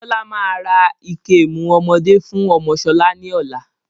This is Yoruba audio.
Bọlá máa ra ìkemù ọmọdé fún ọmọ sọlá ni ọ̀la